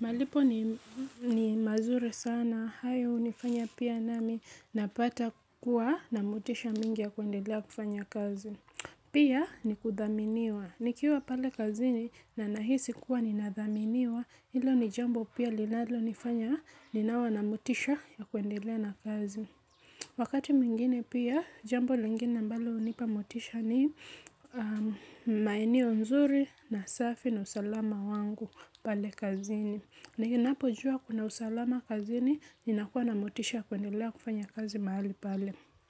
malipo ni mazuri sana. Hayo hunifanya pia nami napata kuwa na motisha mingi ya kuendelea kufanya kazi. Pia ni kuthaminiwa. Nikiwa pale kazini na nahisi kuwa nathaminiwa hilo ni jambo pia linalonifanya ninawa na motisha ya kuendelea na kazi wakati mwingine pia, jambo lingine ambalo hunipa motisha ni maeneo nzuri na safi na usalama wangu pale kazini. Ninapojua kuna usalama kazini ninakuwa na motisha ya kuendelea kufanya kazi mahali pale.